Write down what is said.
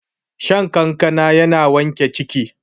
shan kankana yana sa wanke ciki